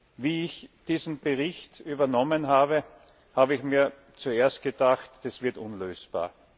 Als ich diesen Bericht übernommen habe, habe ich mir zuerst gedacht Das wird unlösbar.